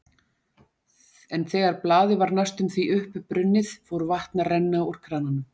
En þegar blaðið var næstum því uppbrunnið, fór vatn að renna úr krananum.